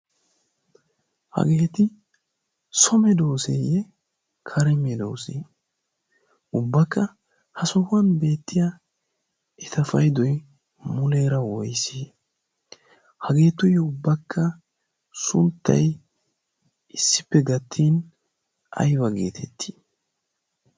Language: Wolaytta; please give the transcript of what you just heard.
Hageet so medooseeyye kare medoose? Ubbakka ha sohuwan beettiya eta paydoy muleera woyise? hageetuyyo ubbakka suuttay issippe gattin ayba geetettii?